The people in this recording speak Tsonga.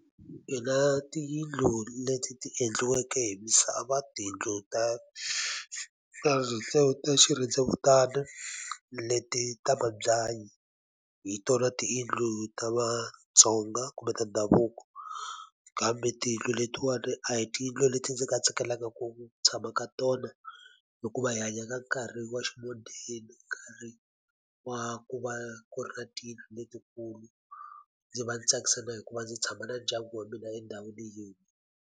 Mina tiyindlu leti ti endliweke hi misava, tiyindlu ta ta swirhendzevutana, leti ta mabyanyi, hi tona tiyindlu ta vaTsonga kumbe ta ndhavuko. Kambe tiyindlu letiwani a hi tiyindlu leti ndzi nga tsakelaka ku tshama ka tona. Hikuva hi hanya ka nkarhi wa ximodeni, nkarhi wa ku va ku ri na tiyindlu letikulu. Ndzi va ndzi tsakisa na hi ku va ndzi tshama na ndyangu wa mina endhawini yin'we.